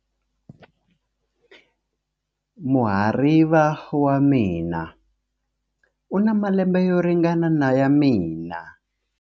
Muhariva wa mina u na malembe yo ringana na ya mina.